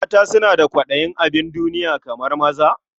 Mata suna da kwaɗayin abin duniya kamar maza?